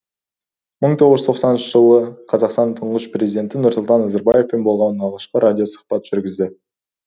мың тоғыз жүз тоқсаныншы жылы қазақстанның тұңғыш президенті нұрсұлтан назарбаевпен болған алғашқы радиосұхбатты жүргізді